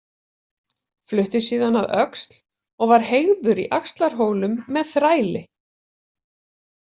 Flutti síðan að Öxl og var heygður í Axlarhólum með þræli.